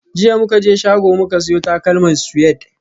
Jiya muka je shago muka siyo takalman Suede